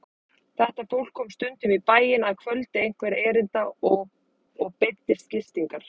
Þetta fólk kom stundum í bæinn að kvöldi einhverra erinda og beiddist gistingar.